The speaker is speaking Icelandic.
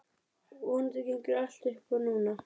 Vonandi gengur allt upp núna.